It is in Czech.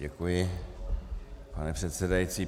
Děkuji, pane předsedající.